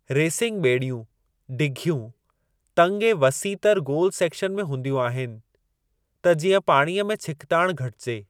Racing ॿेड़ियूं डिघियूं, तंगि ऐं वसीअ तर गोलु सेक्शन में हूंदियूं आहिनि, त जीअं पाणीअ में छिकताण घटिजे।